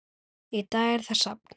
Í dag er það safn.